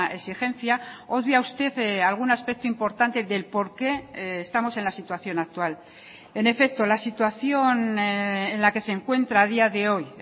exigencia obvia usted algún aspecto importante del por qué estamos en la situación actual en efecto la situación en la que se encuentra a día de hoy